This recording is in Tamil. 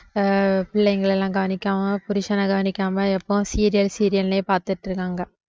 அஹ் பிள்ளைங்களை எல்லாம் கவனிக்காம புருஷனை கவனிக்காம எப்பவும் serial serial லயே பார்த்துட்டு இருக்காங்க